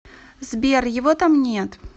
сбер его там нет